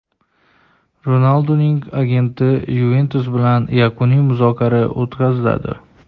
Ronalduning agenti "Yuventus" bilan yakuniy muzokara o‘tkazadi.